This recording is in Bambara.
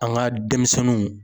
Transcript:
An ka denmisɛnninw.